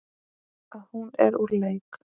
Að hún er úr leik.